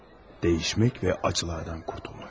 Dəyişmək və acılardan qurtulmaq.